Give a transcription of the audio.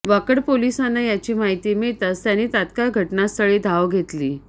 वाकड पोलिसांना याची माहिती मिळताच त्यांनी तात्काळ घटनास्थळी धाव घेतली